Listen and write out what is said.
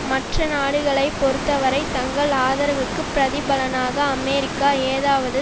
மற்ற நாடுகளை பொறுத்தவரை தங்கள் ஆதரவுக்குப் பிரதிபலனாக அமெரிக்கா ஏதாவது